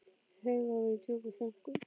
Þau þögðu og voru í djúpum þönkum.